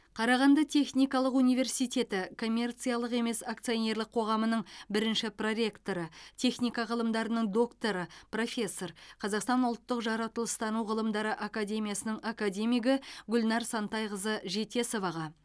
қарағанды техникалық университеті коммерциялық емес акционерлік қоғамының бірінші проректоры техника ғылымдарының докторы профессор қазақстан ұлттық жаратылыстану ғылымдары академиясының академигі гүлнар сантайқызы жетесоваға